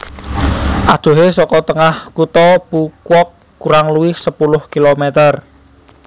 Adohé saka tengah kutha Phu Quoc kurang luwih sepuluh kilometer